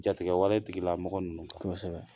Jatigɛwale tigilamɔgɔ ninnu kan